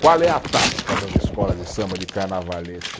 Qual é a tática das escolas de samba de carnavalesco?